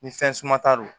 Ni fɛn suma ta lo